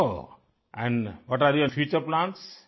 ओह्ह and what are your future plans